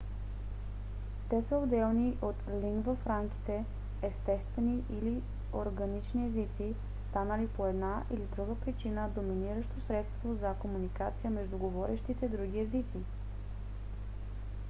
те са отделни от лингва франките - естествени или органични езици станали по една или друга причина доминиращо средство за комуникация между говорещите други езици